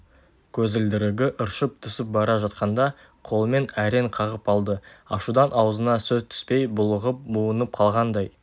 көзілдірігі ыршып түсіп бара жатқанда қолымен әрең қағып алды ашудан аузына сөз түспей булығып буынып қалғандай